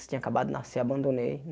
Tinha acabado de nascer, abandonei.